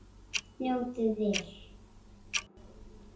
Njótið vel.